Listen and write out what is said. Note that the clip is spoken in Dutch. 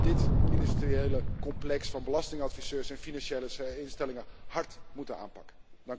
We zullen dit industriële complex van belastingadviseurs en financiële instellingen hard moeten aanpakken.